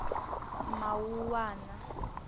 mawuwana